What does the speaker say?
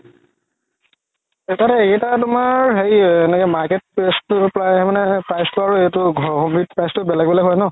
এটাত এইকেইটা তুমাৰ হেৰি এনেকে market price তো আৰু এইটো ঘৰৰ বিধ price তো বেলেগ বেলেগ হয় ন